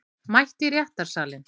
Mætt í réttarsalinn